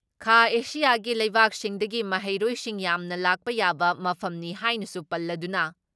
ꯈꯥꯑꯦꯁꯤꯌꯥꯒꯤ ꯂꯩꯕꯥꯛꯁꯤꯡꯗꯒꯤ ꯃꯍꯩꯔꯣꯏꯁꯤꯡ ꯌꯥꯝꯅ ꯂꯥꯛꯄ ꯌꯥꯕ ꯃꯐꯝꯅꯤ ꯍꯥꯏꯅꯁꯨ ꯄꯜꯂꯗꯨꯅ